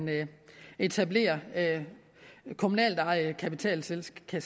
etableres kommunalt ejede kapitalselskaber